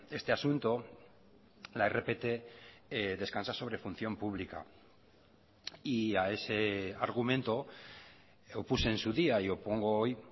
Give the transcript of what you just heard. este asunto la rpt descansa sobre función pública y a ese argumento opuse en su día y opongo hoy